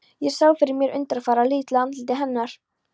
Ég sá fyrir mér undurfagra, litla andlitið hennar.